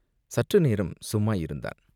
சற்று நேரம் சும்மா இருந்தான்!